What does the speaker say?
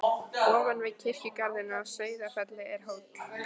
Ofan við kirkjugarðinn á Sauðafelli er hóll.